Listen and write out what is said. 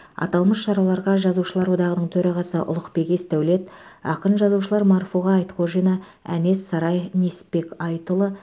аталмыш шараларға жазушылар одағының төрағасы ұлықбек есдәулет ақын жазушылар марфуға айтқожина әнес сарай несіпбек айтұлы